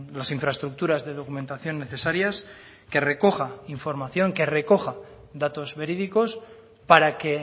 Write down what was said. las infraestructuras de documentación necesarias que recoja información que recoja datos verídicos para que